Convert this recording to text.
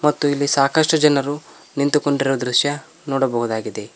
ಮತ್ತು ಇಲ್ಲಿ ಸಾಕಷ್ಟು ಜನರು ನಿಂತುಕೊಂಡಿರುವ ದೃಶ್ಯ ನೋಡಬಹುದಾಗಿದೆ.